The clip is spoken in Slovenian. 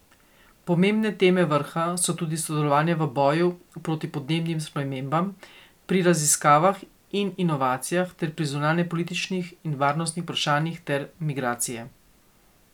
Pomembne teme vrha so tudi sodelovanje v boju proti podnebnim spremembam, pri raziskavah in inovacijah ter pri zunanjepolitičnih in varnostnih vprašanjih ter migracije.